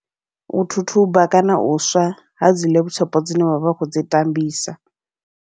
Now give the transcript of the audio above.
U thuthuba kana u swa, hadzi laptop dzine vha vha kho dzi tambisa.